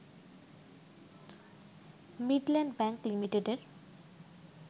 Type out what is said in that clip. Midland bank লিমিটেডের